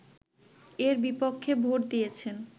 এর বিপক্ষে ভোট দিয়েছে